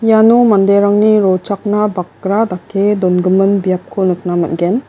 iano manderangni rochakna bakra dake dongimin biapko nikna man·gen.